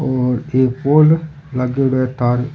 और एक पोल लागेडो है तार --